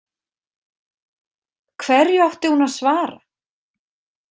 Hverju átti hún að svara?